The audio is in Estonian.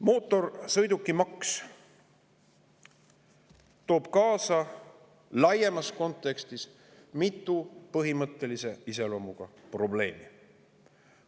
Mootorsõidukimaks toob laiemas kontekstis kaasa mitu põhimõttelise iseloomuga probleemi.